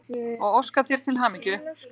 og óska þér til hamingju.